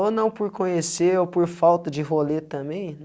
Ou não por conhecer, ou por falta de role também?